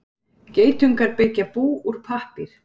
Geitungar byggja bú úr pappír.